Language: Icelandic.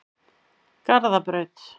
Garðabraut